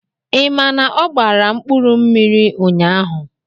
Ị ma na ọ gbara mkpụrụmmiri ụnyahụ?